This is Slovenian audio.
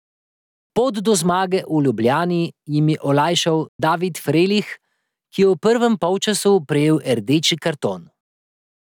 Pot do zmage v Ljubljani jim je olajšal David Frelih, ki je v prvem polčasu prejel rdeči karton.